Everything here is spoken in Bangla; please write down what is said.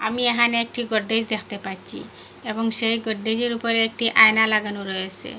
আমি এহানে একটি গডরেজ দেখতে পাচ্ছি এবং সেই গডরেজের উপরে একটি আয়না লাগানো রয়েসে।